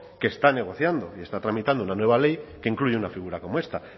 que está negociando y está tramitando una nueva ley que incluye una figura como esta